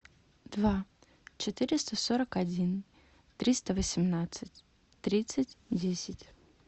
два четыреста сорок один триста восемнадцать тридцать десять